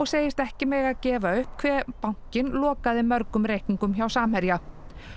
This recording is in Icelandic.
segist ekki mega gefa upp hve bankinn lokaði mörgum reikningum hjá Samherja